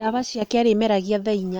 Ndawa ciake arĩ meragia thaa inya.